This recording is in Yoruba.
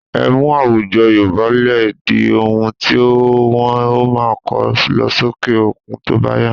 Emu àwùjọ Yorùbá lè di oun tí wọn ó máa kọ́ lọ sókè òkun tó bá yá